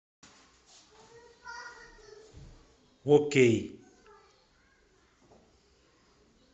окей